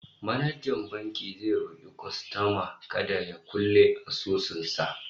manajan bankin zai roki kwastoman kada ya kulle asusun sa